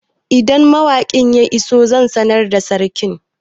Idan mawakin ya iso zan sanar da sarki